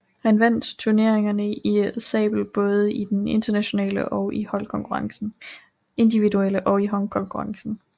Han vandt turneringerne i sabel både i den individuelle og i holdkonkurrencen